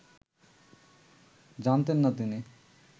জানতেন না তিনি